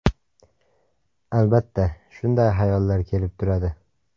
Albatta, shunday hayollar kelib turadi.